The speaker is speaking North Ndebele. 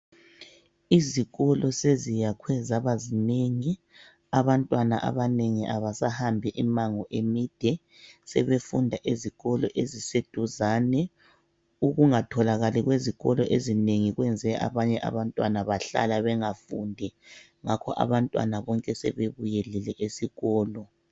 Izikolo seziyakhwe zaba zinengi abantwana abanengi abasahambi imango emide, sebefunda ezikolo eziseduzane. Ukungatholakali kwezikolo ezinengi kwenze abanye abantwana bahlala bengafundi, ngakho abantwana bonke sebebuyelile esikolo.